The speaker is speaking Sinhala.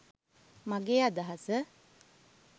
මගේ අදහස.